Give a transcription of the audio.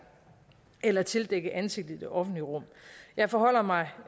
eller tildække ansigtet i det offentlige rum jeg forholder mig